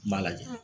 N b'a lajɛ